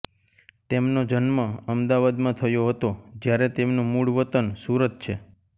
તેમનો જન્મ અમદાવાદમાં થયો હતા જ્યારે તેમનું મૂળ વતન સુરત છે